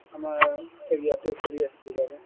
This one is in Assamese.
আমাৰ ইয়াতে কৰি আছিলো বাৰু |